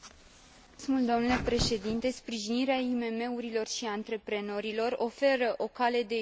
Sprijinirea IMM urilor și antreprenorilor oferă o cale de ieșire din criza financiară.